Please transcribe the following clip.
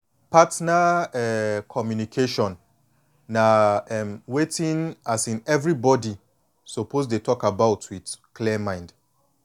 partner um communication na um wetin um everybody suppose dey talk about with clear mind